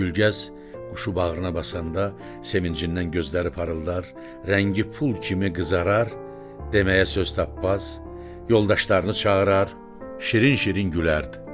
Gülgəz quşu bağrına basanda sevincindən gözləri parıldar, rəngi pul kimi qızarar, deməyə söz tapmaz, yoldaşlarını çağırar, şirin-şirin gülərdi.